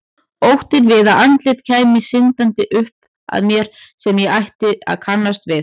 Óttinn við að andlit kæmu syndandi upp að mér sem ég ætti að kannast við.